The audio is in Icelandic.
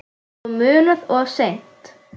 Og munað of seint.